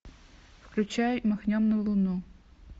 включай махнем на луну